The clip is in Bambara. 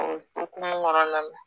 O hokumu kɔnɔna na